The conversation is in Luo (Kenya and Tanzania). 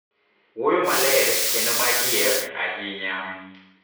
Wuoyo maler kendo ma adier, ahinya,